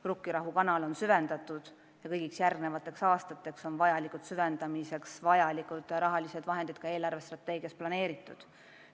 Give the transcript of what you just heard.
Rukkirahu kanal on süvendatud ja kõigiks järgmisteks aastateks on süvendamiseks vajalikud rahasummad eelarvestrateegias planeeritud.